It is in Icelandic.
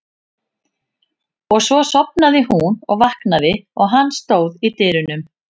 Og svo sofnaði hún og vaknaði og hann stóð í dyrunum.